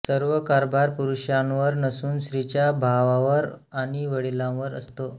सर्व कारभार पुरुषांवर नसून स्त्रीच्या भावावर आणि वडिलांवर असतो